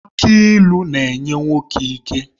Aki ịlụ na-enye nwoke ike